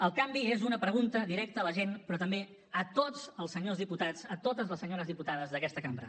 el canvi és una pregunta directa a la gent però també a tots els senyors diputats a totes les senyores diputades d’aquesta cambra